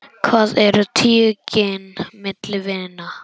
Hvað eru tíu gin milli vina.